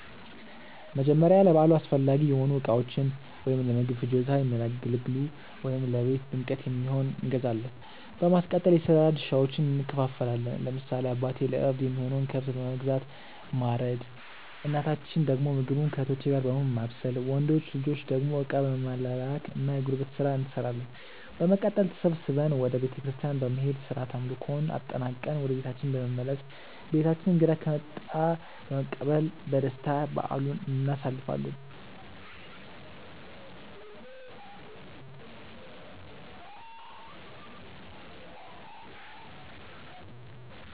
መጀመርያ ለበዓሉ አስፈላጊ የሆኑ እቃዎችን(ለምግብ ፍጆታ የሚያገለግሉ ወይም ለቤት ድምቀት የሚሆን)እንገዛዛለን። በማስቀጠል የስራ ድርሻዎችን እንከፋፈላለን። ለምሳሌ አባቴ ለእርድ የሚሆነውን ከብት በመግዛት ማረድ እናታችን ደግሞ ምግቡን ከእህቶቼ ጋር በመሆን ማብሰል። ወንድ ልጆች ደግሞ እቃ በመላላክ እና የጉልበት ስራ እንሰራለን። በመቀጠል ተሰብስበን ወደ ቤተክርስቲያን በመሄድ ስርዓተ አምልኮውን አጠናቅቀን ወደ ቤታችን በመመለስ በቤታችን እንግዳ ከመጣ በመቀበል በደስታ በዓሉን እናሳልፋለን።